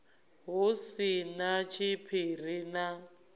hu si na tshiphiri na